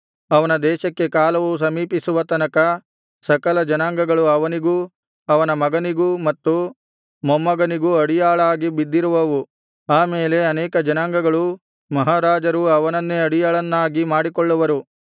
ಅವನ ದೇಶಕ್ಕೆ ಕಾಲವು ಸಮೀಪಿಸುವ ತನಕ ಸಕಲ ಜನಾಂಗಗಳು ಅವನಿಗೂ ಅವನ ಮಗನಿಗೂ ಮತ್ತು ಮೊಮ್ಮಗನಿಗೂ ಅಡಿಯಾಳಾಗಿ ಬಿದ್ದಿರುವವು ಆ ಮೇಲೆ ಅನೇಕ ಜನಾಂಗಗಳೂ ಮಹಾರಾಜರೂ ಅವನನ್ನೇ ಅಡಿಯಾಳನ್ನಾಗಿ ಮಾಡಿಕೊಳ್ಳುವರು